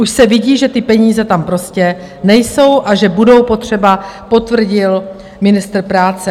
Už se vidí, že ty peníze tam prostě nejsou a že budou potřeba, potvrdil ministr práce.